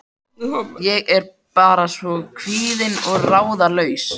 Ég er bara svona kvíðin og ráðalaus.